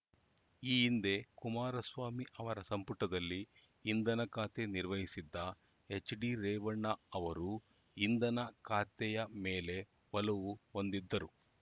ಈ ಹಿಂದೆ ಕುಮಾರಸ್ವಾಮಿ ಅವರ ಸಂಪುಟದಲ್ಲಿ ಇಂಧನ ಖಾತೆ ನಿರ್ವಹಿಸಿದ್ದ ಎಚ್‌ಡಿ ರೇವಣ್ಣ ಅವರೂ ಇಂಧನ ಖಾತೆಯ ಮೇಲೆ ಒಲವು ಹೊಂದಿದ್ದರು